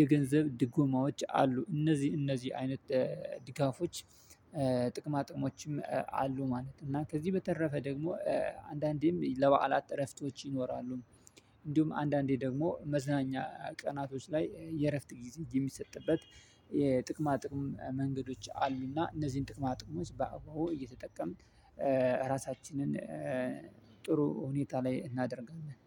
የገንዘብ ድጎማዎች አሉ እነዚህ እነዚህ አይነት ድጋፎች ጥቅማ ጥቅሞችም አሉ። ማለት እና ከዚህ በተረፈ ደግሞ አንዳንዴም ለበዓላት እረፍቶች ይኖራሉ። እንዲሁም አንዳንዴ ደግሞ መዝናኛ ቀናቶች ላይ የእረፍት የሚሰጥበት የጥቅማ ጥቅም መንገዶች አልሚና እነዚህን ጥቅማ ጥቅሞች በአበበ እየተጠቀምን። ራሳችንን ጥሩ ሁኔታ ላይ እናደርጋለን